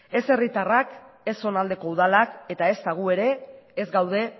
ez herritarrak ez zonaldeko udalak eta ezta gu ere ez gaude